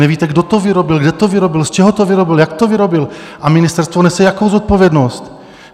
Nevíte, kdo to vyrobil, kde to vyrobil, z čeho to vyrobil, jak to vyrobil, a ministerstvo nese jakou zodpovědnost?